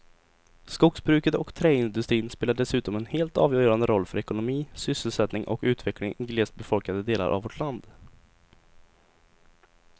Skogsbruket och träindustrin spelar dessutom en helt avgörande roll för ekonomi, sysselsättning och utveckling i glest befolkade delar av vårt land.